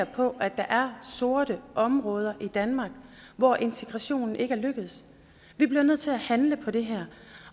på at der er sorte områder i danmark hvor integrationen ikke er lykkedes vi bliver nødt til at handle på det her